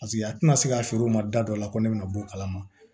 Paseke a tɛna se k'a feere o ma da dɔ la ko ne bɛna bɔ o kalama